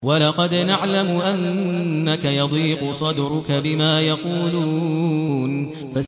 وَلَقَدْ نَعْلَمُ أَنَّكَ يَضِيقُ صَدْرُكَ بِمَا يَقُولُونَ